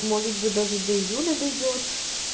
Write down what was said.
может быть даже до июля дойдёт